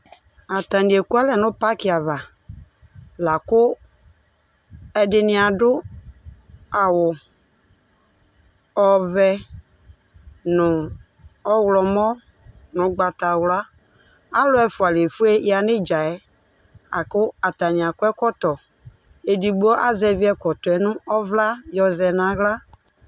Atanɩ ekʋalɛ nʋ pakɩ ava Lakʋ ɛdɩnɩ adʋ awʋ ɔvɛ, nʋ ɔɣlɔmɔ, nʋ ugbatawla Alʋ ɛfʋa lefueya nʋ ɩdza yɛ Akʋ atanɩ akɔ ɛkɔtɔ Edigbo azɛvi ɛkɔtɔ yɛ nʋ ɔvla yɔ zɛ nʋ aɣla